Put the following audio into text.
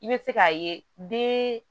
I bɛ se k'a ye den